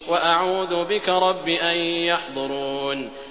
وَأَعُوذُ بِكَ رَبِّ أَن يَحْضُرُونِ